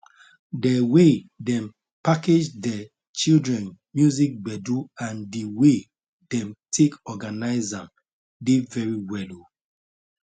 de way dem package de children music gbedu and the way them take organize am dey very well o